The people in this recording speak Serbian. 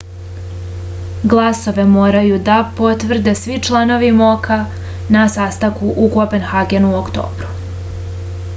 glasove moraju da potvrde svi članovi mok-a na sastanku u kopenhagenu u oktobru